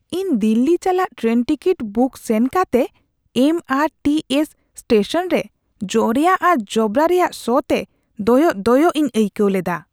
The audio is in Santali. ᱤᱧ ᱫᱤᱞᱞᱤ ᱪᱟᱞᱟᱜ ᱴᱨᱮᱱ ᱴᱤᱠᱤᱴ ᱵᱩᱠ ᱥᱮᱱ ᱠᱟᱛᱮ M R T S station ᱨᱮ ᱡᱚᱨᱭᱟ ᱟᱨ ᱡᱚᱵᱽᱨᱟ ᱨᱮᱭᱟᱜ ᱥᱚᱛᱮ ᱫᱚᱭᱚᱜ ᱫᱚᱭᱚᱜ ᱤᱧ ᱟᱹᱭᱠᱟᱹᱣ ᱞᱮᱫᱟ ᱾